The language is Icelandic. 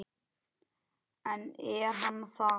En er hann það?